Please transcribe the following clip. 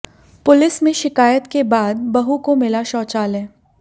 police में शिकायत के बाद बहू को मिला शौचालय